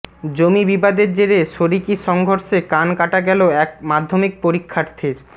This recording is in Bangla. জমি বিবাদের জেরে শরিকি সংঘর্ষে কান কাটা গেল এক মাধ্যমিক পরীক্ষার্থীর